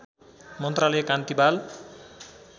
मन्त्रालय कान्ति बाल